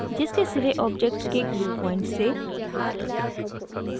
जिसके सिरे ऑब्जेक्ट के glue points से